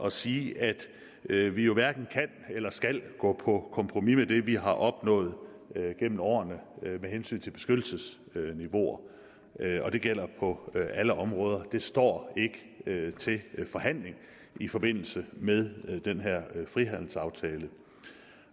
at sige at vi vi hverken kan eller skal gå på kompromis med det vi har opnået gennem årene med hensyn til beskyttelsesniveauer det gælder på alle områder det står ikke til forhandling i forbindelse med den her frihandelsaftale det